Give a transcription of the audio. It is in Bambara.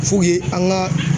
F'u ye an ka